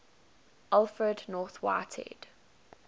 alfred north whitehead